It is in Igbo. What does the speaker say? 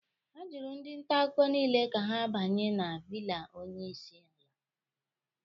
Ajụrụ ndị nta akụkọ niile ka ha banye na villa onyeisiala